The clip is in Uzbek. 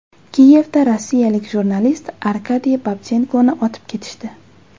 Kiyevda rossiyalik jurnalist Arkadiy Babchenkoni otib ketishdi .